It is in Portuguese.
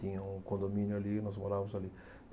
Tinha um condomínio ali e nós morávamos ali.